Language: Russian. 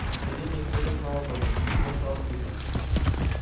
в деревнях всё как на ладони чужаков сразу видно